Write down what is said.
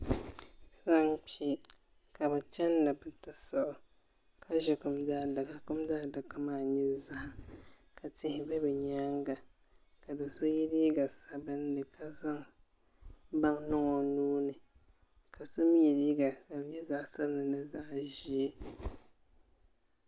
so n-kpi ka bɛ chani ni bɛ ti sɔɣi o ka ʒi kum daadaka kum daadaka maa nyɛ zahim ka tihi be bɛ nyaaŋa ka do' so ye liiga sabinli ka zaŋ baŋa niŋ o nuu ni ka so ye liiga ka di nyɛ zaɣ' sabinli ni zaɣ' ʒee